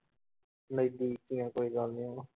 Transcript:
ਨਹੀਂ ਠੀਕ ਹੀ ਆਂ ਕੋਈ ਗੱਲ ਨੀ ਹੁਣ